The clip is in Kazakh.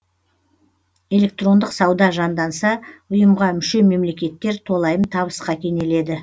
электрондық сауда жанданса ұйымға мүше мемлекеттер толайым табысқа кенеледі